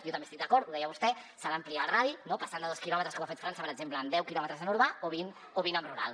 jo també hi estic d’acord ho deia vostè s’ha d’ampliar el radi no passant de dos quilòmetres com ha fet frança per exemple a deu quilòmetres en urbà o a vint en rural